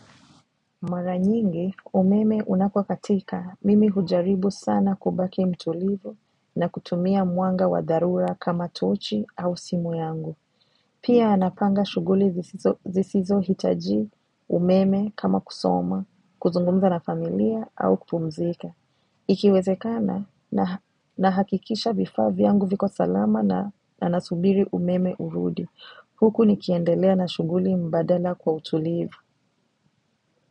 Mara nyingi, umeme unapokatika mimi hujaribu sana kubaki mtulivu na kutumia mwanga wa dharura kama tochi au simu yangu. Pia napanga shuguli zisizo hitaji umeme kama kusoma, kuzungumza na familia au kupumzika. Ikiwezekana, nahakikisha vifaa vyangu viko salama na nasubiri umeme urudi. Huku nikiendelea na shuguli mbadala kwa utulivu.